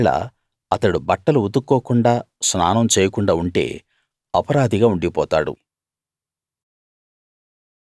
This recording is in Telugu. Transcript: ఒకవేళ అతడు బట్టలు ఉతుక్కోకుండా స్నానం చేయకుండా ఉంటే అపరాధిగా ఉండిపోతాడు